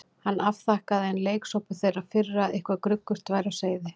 Hann afþakkaði, enn leiksoppur þeirrar firru að eitthvað gruggugt væri á seyði.